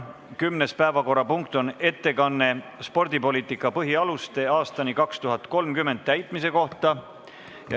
Kümnes päevakorrapunkt on ettekanne "Spordipoliitika põhialuste aastani 2030" täitmise kohta.